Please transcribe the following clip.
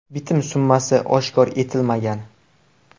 Bitim summasi oshkor etilmagan.